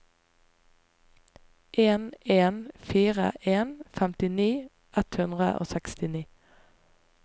en en fire en femtini ett hundre og sekstini